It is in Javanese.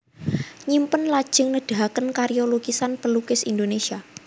Nyimpen lajeng nedahaken karya lukisan pelukis Indonesia